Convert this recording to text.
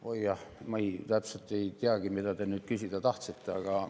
Oi jah, ma täpselt ei teagi, mida te nüüd küsida tahtsite.